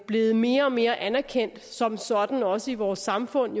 blevet mere og mere anerkendt som sådan også i vores samfund